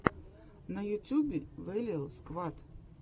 на ютюбе вэлиал сквад